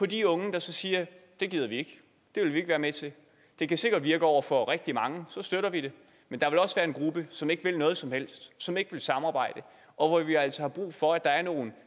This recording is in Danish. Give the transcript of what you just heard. de unge der siger det gider vi ikke det vil vi ikke være med til det kan sikkert virke over for rigtig mange og så støtter vi det men der vil også være en gruppe som ikke vil noget som helst som ikke vil samarbejde og hvor vi altså har brug for at der er nogle